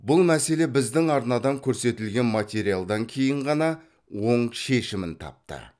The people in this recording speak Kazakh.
бұл мәселе біздің арнадан көрсетілген материалдан кейін ғана оң шешімін тапты